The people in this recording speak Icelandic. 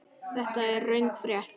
Þetta er röng frétt.